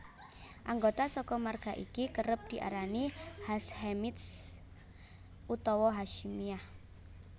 Anggota saka marga iki kerep diarani Hashemites utawa Hasyimiyah